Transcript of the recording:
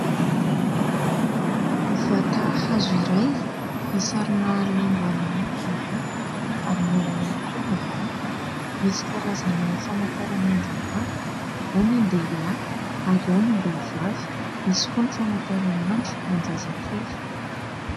Vata hazo iray, misarona lamba mena ny ambony ary mena ihany koa ny ambany. Misy karazana famantaranandro maro, ao ny an-dehilahy ary ao ny am-behivavy, misy koa ny famantaranandro ho an-jazakely.